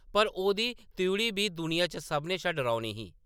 पर ओह्‌‌‌दी त्रिउढ़ी बी दुनिया च सभनें शा डरौनी ही ।